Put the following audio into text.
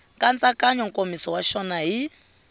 nkatsakanyo nkomiso wa xona hi